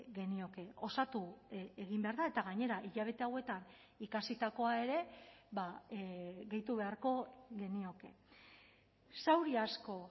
genioke osatu egin behar da eta gainera hilabete hauetan ikasitakoa ere gehitu beharko genioke zauri asko